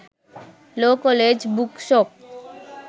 law college book shop